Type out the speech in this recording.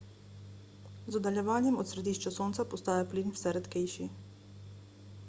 z oddaljevanjem od središča sonca postaja plin vse redkejši